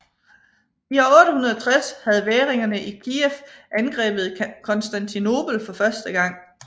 I år 860 havde væringerne i Kijev angrebet Konstantinopel for første gang